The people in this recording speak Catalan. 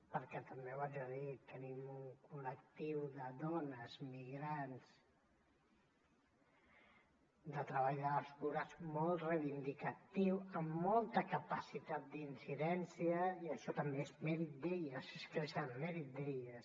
perquè també ho haig de dir tenim un col·lectiu de dones migrants de treball de les cures molt reivindicatiu amb molta capacitat d’incidència i això també és mèrit d’elles és que és mèrit d’elles